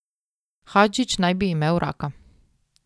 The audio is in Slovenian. Hadžić naj bi imel raka.